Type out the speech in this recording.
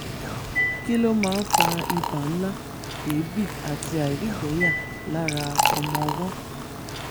kí ló máa ń fa ibà ńlá èébì àti àìrígbẹ̀ẹ́yà lára ọmọọwọ́?